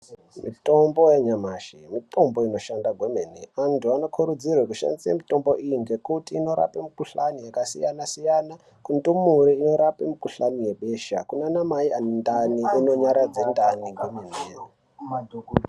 Mitombo yanyamashi mitombo inoshanda kwemene antu anokurudzirwe kushandise mutombo iyi ngekuti inorape mukhuhlani yakasiyana siyana kundumure inkrape mukhuhlani webesha kunana mai ane ndani inonyaradze ndani kwemene.